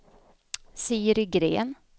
Siri Gren